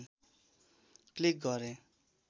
click गरे